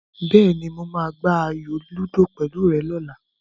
Bẹ́ẹ̀ni, mo máa gbá ayò lúdò pẹ̀lú rẹ lọ́la.